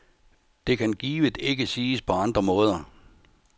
Det kan givet ikke siges på andre måder.